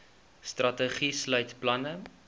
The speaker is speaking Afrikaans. strategie sluit planne